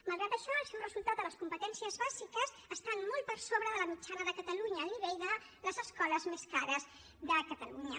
malgrat això els seus resultats a les competències bàsiques estan molt per sobre de la mitjana de catalunya al nivell de les escoles més cares de catalunya